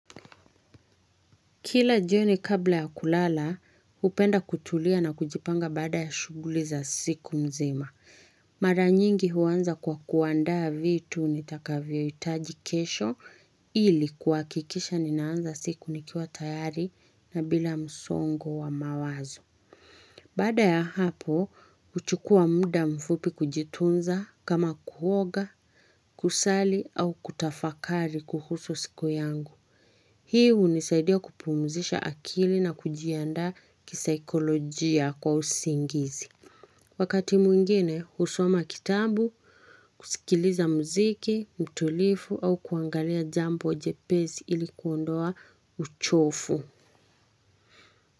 Kila jioni kabla ya kulala, hupenda kutulia na kujipanga baada ya shughuli za siku nzima. Mara nyingi huanza kwa kuandaa vitu nitakavyohitaji kesho ili kuhakikisha ninaanza siku nikiwa tayari na bila msongo wa mawazo. Baada ya hapo, huchukua muda mfupi kujitunza kama kuoga, kusali au kutafakari kuhusu siku yangu. Hii hunisaidia kupumzisha akili na kujiandaa kisaikolojia kwa usingizi. Wakati mwingine, husoma kitabu, kusikiliza muziki, mtulifu au kuangalia jambo jepesi ilikuondoa uchofu.